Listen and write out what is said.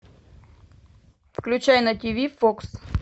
включай на тв фокс